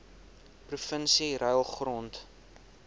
provinsie ruil grond